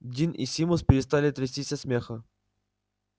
дин и симус перестали трястись от смеха